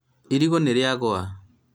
irigũ nĩrĩagũa